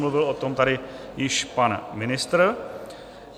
Mluvil o tom tady již pan ministr.